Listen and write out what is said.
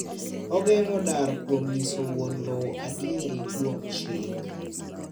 Ogeng'o dar kuom nyiso wuon lowo adieri kuom chik.